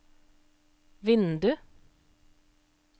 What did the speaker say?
vindu